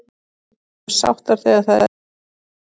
Við erum sáttar þegar það er lítið gera.